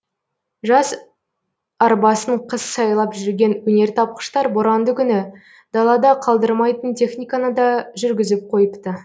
жаз арбасын қыс сайлап жүрген өнертапқыштар боранды күні далада қалдырмайтын техниканы да жүргізіп қойыпты